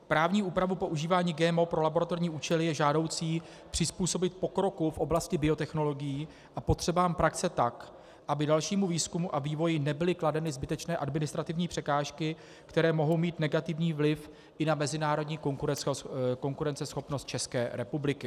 Právní úpravu používání GMO pro laboratorní účely je žádoucí přizpůsobit pokroku v oblasti biotechnologií a potřebám praxe tak, aby dalšímu výzkumu a vývoji nebyly kladeny zbytečné administrativní překážky, které mohou mít negativní vliv i na mezinárodní konkurenceschopnost České republiky.